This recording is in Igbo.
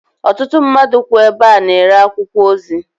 Ọtụtụ mmadụ kwú ebe a na-ere akwụkwọ ozi.